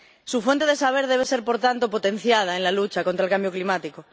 Su fuente de saber debe ser, por tanto, potenciada en la lucha contra el cambio climático.